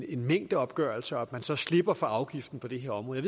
en mængdeopgørelse og at man så slipper for afgiften på det her område